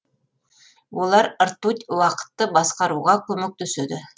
олар ртуть уақытты басқаруға көмектеседі